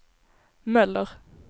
Möller